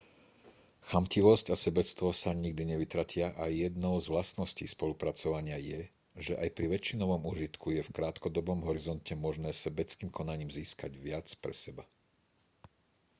chamtivosť a sebectvo sa nikdy nevytratia a jednou s vlastností spolupracovania je že aj pri väčšinovom úžitku je v krátkodobom horizonte možné sebeckým konaním získať viac pre seba